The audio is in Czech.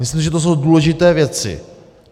Myslím, že to jsou důležité věci.